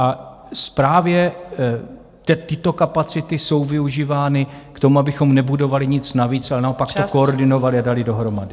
A právě tyto kapacity jsou využívány k tomu, abychom nebudovali nic navíc, ale naopak to koordinovali a dali dohromady.